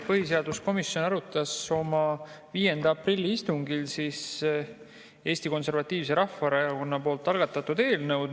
Põhiseaduskomisjon arutas oma 5. aprilli istungil Eesti Konservatiivse Rahvaerakonna algatatud eelnõu.